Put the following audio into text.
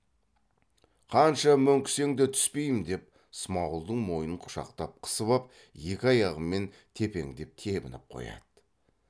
қанша мөңкісең де түспеймін деп смағұлдың мойнын құшақтап қысып ап екі аяғымен тепеңдеп тебініп қояды